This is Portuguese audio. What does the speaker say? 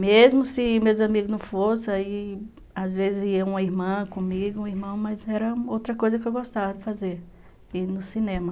Mesmo se meus amigos não fossem, aí, às vezes ia uma irmã comigo, um irmão, mas era outra coisa que eu gostava de fazer, ir no cinema.